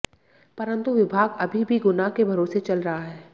परंतु विभाग अभी भी गुना के भरोसे चल रहा है